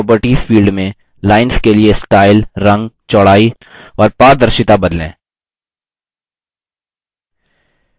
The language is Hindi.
line properties field में lines के लिए स्टाइल रंग चौड़ाई और पारदर्शिता बदलें